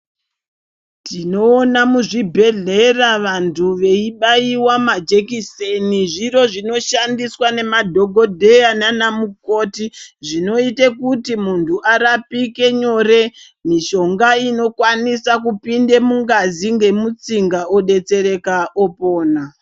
Tinoona muzvibhedhlera vanthu veibaiwa majekiseni zviro zvinoshandisqa nemadhokodheya nanamukoti zvinoite kuti munthu arapike nyore mishonga inokwanisa kupinde mungazi ngemutsinga odetsereka opona.